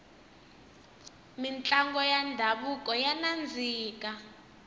mintlango ya ndhavuko ya nandzika